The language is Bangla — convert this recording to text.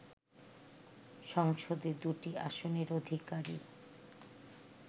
সংসদে দুটি আসনের অধিকারী